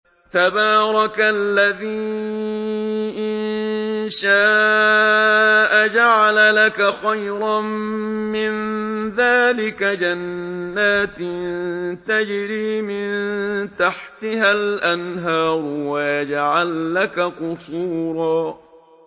تَبَارَكَ الَّذِي إِن شَاءَ جَعَلَ لَكَ خَيْرًا مِّن ذَٰلِكَ جَنَّاتٍ تَجْرِي مِن تَحْتِهَا الْأَنْهَارُ وَيَجْعَل لَّكَ قُصُورًا